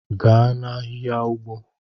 Gaa na-ahịhịa ugbo!